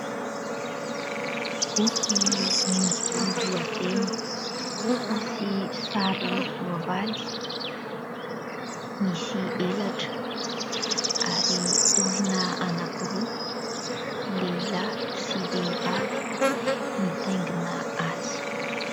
Boky misy lohateny sy sary soavaly misy elatra ary olona anankiroa, lehilahy sy vehivavy mitaingina azy.